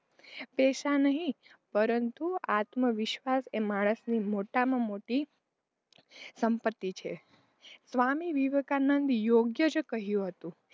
પૈસા નહીં પરંતુ આત્મવિશ્વાસ એ માણસની મોટામાં મોટી સંપતિ છે સ્વામિ વિવેકાનંદ યોગ્ય જ કહ્યું હતું,